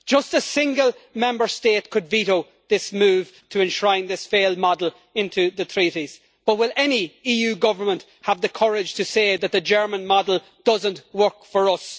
A single Member State could veto this move to enshrine this failed model into the treaties, but will any government in the EU have the courage to say that the German model does not work for us?